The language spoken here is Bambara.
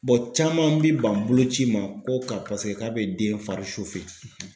caman bi ban bolo ci ma ko ka paseke k'a be den fari